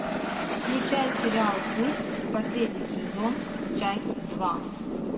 включай сериал культ последний сезон часть два